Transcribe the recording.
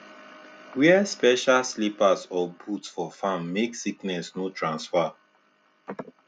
wear special slippers or boots for farm make sickness no transfer